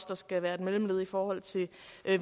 der skal være mellemled i forhold til